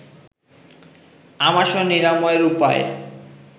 আমাশয় নিরাময়ের উপায়